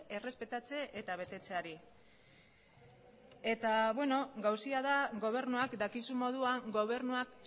errespetatze eta betetzeari eta beno gauza da gobernuak dakizun moduan gobernuak